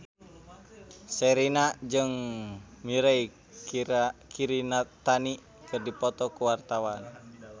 Sherina jeung Mirei Kiritani keur dipoto ku wartawan